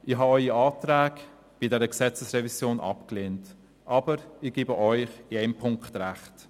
Ich habe Ihre Anträge bei dieser Gesetzesrevision abgelehnt, aber ich gebe Ihnen in einem Punkt recht: